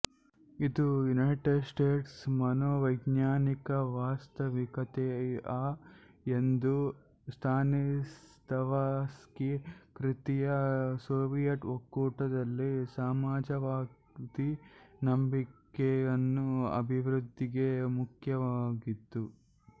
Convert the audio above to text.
ಇದು United States ಮನೋವೈಜ್ಞಾನಿಕ ವಾಸ್ತವಿಕತೆ ಆ ಎಂದು ಸ್ಟಾನಿಸ್ಲಾವಸ್ಕಿ ಕೃತಿಯ ಸೋವಿಯತ್ ಒಕ್ಕೂಟದಲ್ಲಿ ಸಮಾಜವಾದಿ ನಂಬಿಕೆಯನ್ನು ಅಭಿವೃದ್ಧಿಗೆ ಮುಖ್ಯವಾಗಿತ್ತು